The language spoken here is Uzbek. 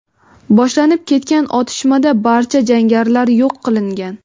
boshlanib ketgan otishmada barcha jangarilar yo‘q qilingan.